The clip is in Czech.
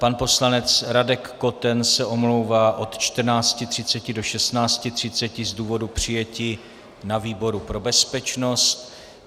Pan poslanec Radek Koten se omlouvá od 14.30 do 16.30 z důvodu přijetí na výboru pro bezpečnost.